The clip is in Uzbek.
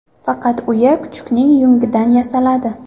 Faqat uya kuchukning yungidan yasaladi.